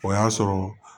O y'a sɔrɔ